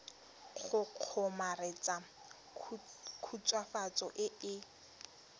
go kgomaretsa khutswafatso e e